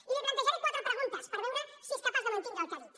i li plantejaré quatre preguntes per veure si és capaç de mantindre el que ha dit